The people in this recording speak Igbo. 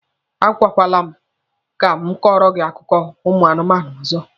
A gwakwala m ka m kọrọ gị akụkọ ụmụ anụmanụ ọzọ!